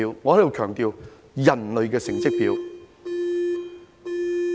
我在此強調，是人類的成績表。